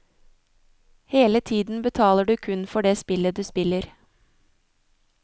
Hele tiden betaler du kun for det spillet du spiller.